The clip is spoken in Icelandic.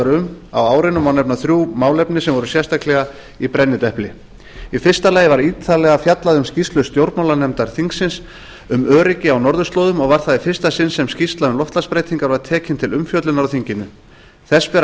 um á árinu má nefna þrjú málefni sem voru sérstaklega í brennidepli í fyrsta lagi var ítarlega fjallað um skýrslu stjórnmálanefndar þingsins um öryggi á norðurslóðum og var það í fyrsta sinn sem skýrsla um loftslagsbreytingar var tekin til umfjöllunar á þinginu þess ber að